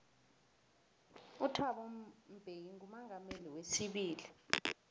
uthabo mbeki ngumongameli weibili